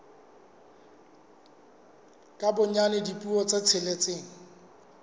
ka bonyane dipuo tse tsheletseng